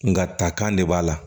Nga takan de b'a la